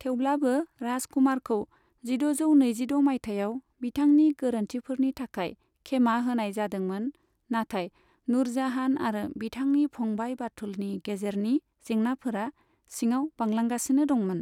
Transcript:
थेवब्लाबो राजकुमारखौ जिद'जौ नैजिद' माइथायाव बिथांनि गोरोन्थिफोरनि थाखाय खेमा होनाय जादोंमोन, नाथाय नुरजाहान आरो बिथांनि फंबाय बाथुलनि गेजेरनि जेंनाफोरा सिङाव बांलांगासिनो दंमोन।